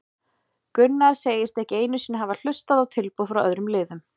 Gunnar segist ekki einu sinni hafa hlustað hlustað á tilboð frá öðrum liðum.